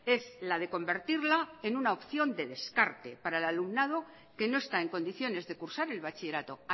es la de convertirla en una opción de descarte para el alumnado que no está en condiciones de cursar el bachillerato